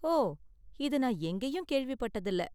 ஓ, இதை நான் எங்கேயும் கேள்விப்பட்டது இல்ல.